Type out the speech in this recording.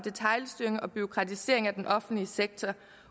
detailstyring og bureaukratisering af den offentlige sektor